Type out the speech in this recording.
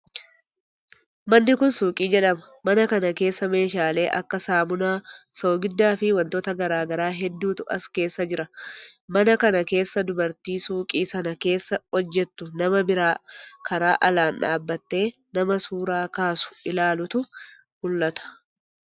Manni kuni suuqii jedhama. Mana kana keessa meeshaalee akka saamunaa, soogidda fii wantoota garagaraa hedduutu as keessa jira. Mana kana keessa dubartii suuqii san keessa hojjattuu nama biroo karaa alaan dhaabbatee nama suuraa kaasu ilaalutu mul'ata.